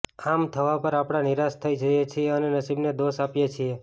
આમ થવા પર આપણે નિરાશ થઈ જઈએ છીએ અને નસીબને દોષ આપીએ છીએ